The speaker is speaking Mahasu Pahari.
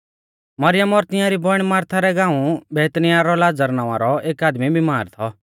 मरियम और तियांरी बौइण मारथा रै गाऊं बैतनिय्याह रौ लाज़र नावां रौ एक आदमी बिमार थौ